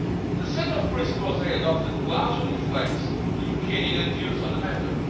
The set of principles they adopted largely reflects European Union views on the matter.